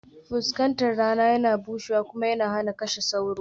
Fuskatar rana yana bushewa kuma yana kashe sauro